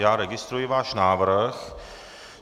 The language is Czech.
Já registruji váš návrh.